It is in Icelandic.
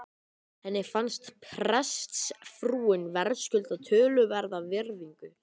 Henni fannst prestsfrúin verðskulda töluverða virðingu.